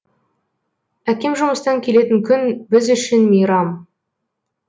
әкем жұмыстан келетін күн біз үшін мейрам